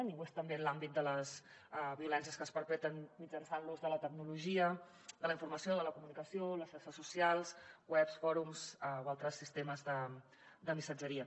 i ho és també en l’àmbit de les violències que es perpetren mitjançant l’ús de la tecnologia de la informació de la comunicació les xarxes socials webs fòrums o altres sistemes de missatgeria